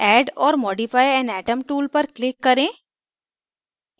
add or modify an atom tool पर click करें